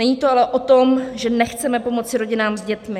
Není to ale o tom, že nechceme pomoci rodinám s dětmi.